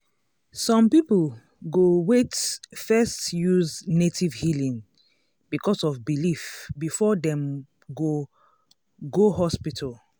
some people go wait first use native healing because of belief before dem go go hospital.